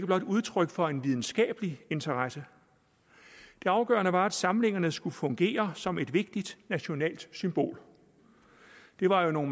var udtryk for en videnskabelig interesse det afgørende var at disse samlinger skulle fungere som et vigtigt nationalt symbol det var jo nogle